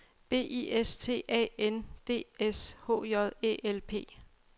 B I S T A N D S H J Æ L P